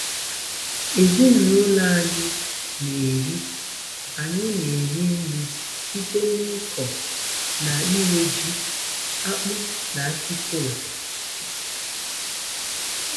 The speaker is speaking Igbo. Ezinụlọ anyị na-eri anyị na-eri nri site n'ịkọ na ire ji, akpụ, na akị kola.